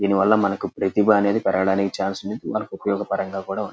దీని వల్ల మనకు ప్రతిభా అనేది పెరిగడానికి ఛాన్స్ ఉంది. మనకు ఉపయోగకరంగా కూడా ఉం --